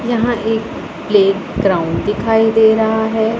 यहां एक प्लेग्राउंड दिखाई दे रहा है।